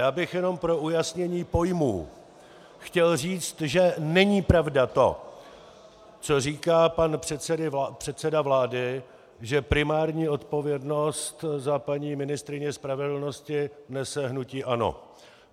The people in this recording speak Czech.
Já bych jenom pro ujasnění pojmů chtěl říci, že není pravda to, co říká pan předseda vlády, že primární odpovědnost za paní ministryni spravedlnosti nese hnutí ANO.